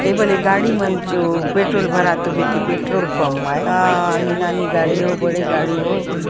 एक बार एक गाड़ी मन जो पेट्रोल भरते जो हुई इमानी गाड़ि हो बड़े गाड़ि हो--